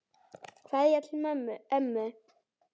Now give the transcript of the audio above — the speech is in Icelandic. Kveðja til ömmu.